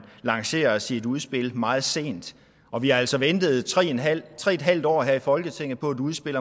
lancerer sit udspil meget sent og vi har altså ventet tre en halv halv år her i folketinget på et udspil